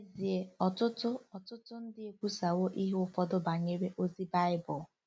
N’ezie, ọtụtụ ọtụtụ ndị ekwusawo ihe ụfọdụ banyere ozi Bible.